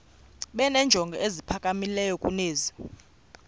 benenjongo eziphakamileyo kunezi